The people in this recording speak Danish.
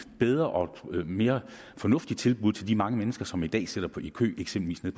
bedre og mere fornuftigt tilbud til de mange mennesker som i dag sidder i kø eksempelvis